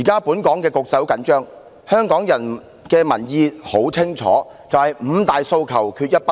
"本港現時的局勢十分緊張，而香港的民意十分清晰，就是"五大訴求，缺一不可"。